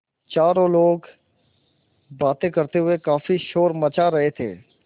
चारों लोग बातें करते हुए काफ़ी शोर मचा रहे थे